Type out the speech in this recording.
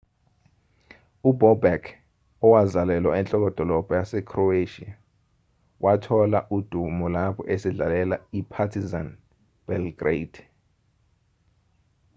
ubobek owazalelwa enhlokodolobha yasekhroweshiya wathola udumo lapho esadlalela i-partizan belgrade